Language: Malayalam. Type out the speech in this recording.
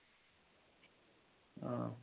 ആഹ്